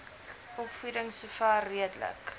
opvoeding sover redelik